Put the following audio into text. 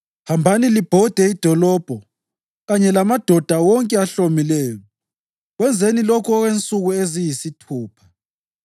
Hambani libhode idolobho kanye lamadoda wonke ahlomileyo. Kwenzeni lokhu okwensuku eziyisithupha.